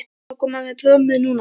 Má þá koma með trommur núna?